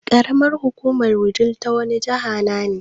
Ƙaramar hukumar Wudil ta wani jihana ne?